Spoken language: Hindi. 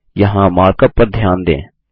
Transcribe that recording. यहाँ मार्क अप पर ध्यान दें